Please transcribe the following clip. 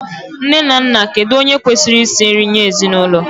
Nne na Nna, kedu onye kwesịrị isi nri nye ezinụlọ?